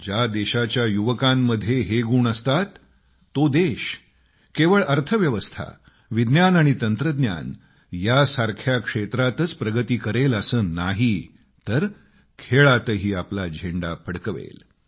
ज्या देशाच्या युवकांमध्ये हे गुण असतात तो देश केवळ अर्थव्यवस्था विज्ञान आणि टेक्नॉलॉजी यासारख्या क्षेत्रांतच प्रगती करेल असे नाही तर स्पोर्ट्समध्येही आपला झेंडा फडकवेल